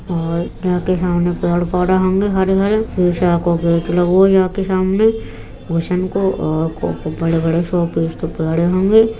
और यहाँ पे हम पेड़-पौधा होंगे हरे-भरे शीशा के गेट लगे हो यहाँ पे सामने --